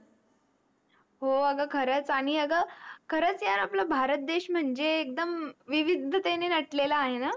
हो आग खरंच आणि आग खरच यार आपला भारत देश म्हणजे एकदम विविधतेने नटलेला आहे न